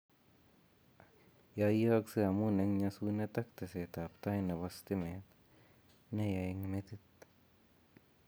Yoiyokse amun eng' nyosunet ak teesetab tai nebo stimet neyaa eng' metit